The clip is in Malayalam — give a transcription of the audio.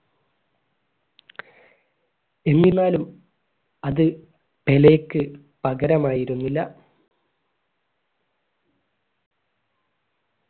എന്നിരുന്നാലും അത് പെലെക്ക് പകരമായിരുന്നില്ല